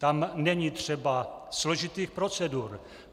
Tam není třeba složitých procedur.